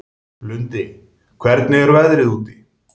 Lundi, hvernig er veðrið úti?